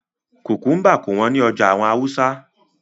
Kukumba kò wọ́n ní ọjà àwọn Hausa